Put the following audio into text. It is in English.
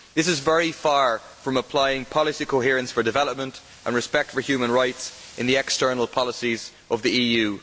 This is very far from applying policy coherence for development and respect for human rights in the external policies of the EU.